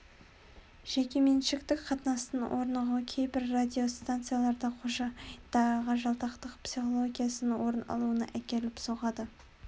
жекеменшіктік қатынастың орнығуы кейбір радиостанцияларда қожайындарға жалтақтық психологиясының орын алуына әкеліп соқтырды